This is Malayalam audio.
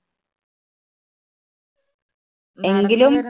എങ്കിലും